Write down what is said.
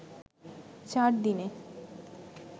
চার দিনে